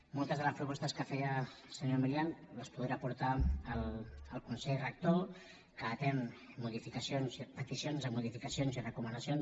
moltes de les propostes que feia el senyor milián les deu poder portar al consell rector que atén modificacions i peticions de modificacions i recomanacions